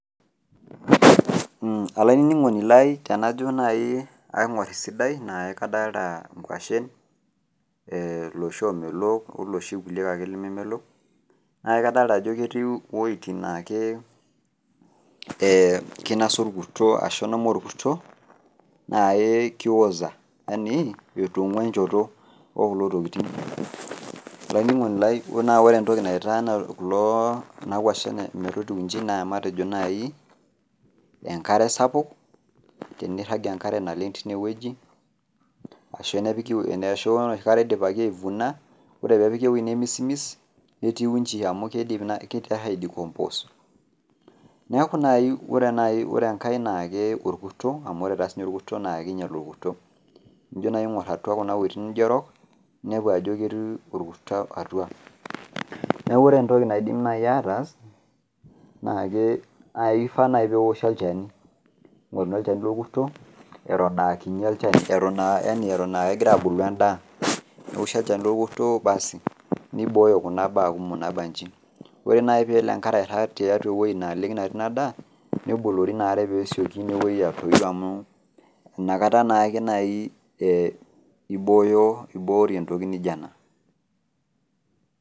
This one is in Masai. Olainining'oni lai tenajo nai aing'or esidai naa kadalta inkwashen, loshi omelook oloshi kulie ake lememelok, na kadalta ajo ketiu woiting nake kinasa orkuto ashu ilang'a orkuto, naa ki oza, yani etong'ua enchoto okulo tokiting. Olainining'oni lai na ore entoki naitaa kulo kuna kwashen metotiu iji, naa matejo nai enkare sapuk, tenirrag enkare naleng tinewueji, ashu ore enoshi kata idipaki ai vuna, ore pepiki ewei nemisimis, netiu iji amu kidim nai kiter ai decompose. Neeku nai ore enkae na keeku orkuto amu ore ta sinye orkuto na kinyal orkuto. Enijo nai aing'or atua kune weiting nijo erok, ninepu ajo ketii orkuto atua. Neeku ore entoki naidim nai ataas, naake kifaa nai pewoshi olchani. Ning'oruni olchani lorkuto eton akinyi olchani, eton ah kegira abulu endaa. Newoshi olchani lorkuto baas niboyo kuna baa kumok nabanji. Ore nai pelo enkare airrag tiatua ewoi naleng natii nadaa, nebolori inaare pesioki inewoi atoyu amu, inakata nake nai ibooyo iboori entoki nijo ena.